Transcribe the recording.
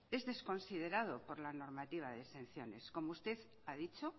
es desconsiderado por la normativa de exenciones como usted ha dicho